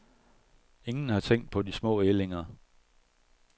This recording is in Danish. Ingen har tænkt på de små ællinger.